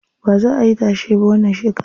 Baza ayi tashe ba wannan shekaran.